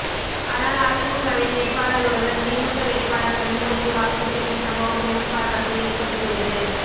ஆனால் அதிமுகவின் வேட்பாளர் ஒருவர் திமுக வேட்பாளர் கனிமொழிக்கு வாக்கு கேட்ட சம்பவம் பெரும் பரபரப்பை ஏற்படுத்தியுள்ளது